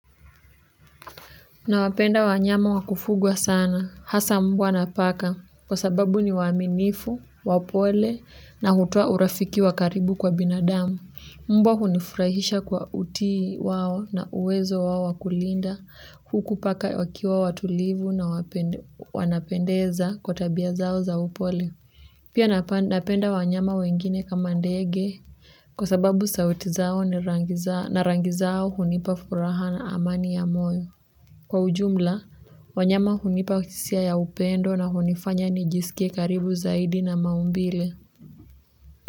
Nawapenda wanyama wa kufugwa sana, hasa mbwa na paka kwa sababu ni waaminifu, wapole na hutoa urafiki wa karibu kwa binadamu. Mbwa hunifurahisha kwa utii wao na uwezo wao wa kulinda huku paka wakiwa watulivu na wanapendeza kwa tabia zao za upole pia napenda wanyama wengine kama ndege kwa sababu sauti zao na rangi zao hunipa furaha na amani ya moyo. Kwa ujumla, wanyama hunipa hisia ya upendo na hunifanya nijiskie karibu zaidi na maumbile.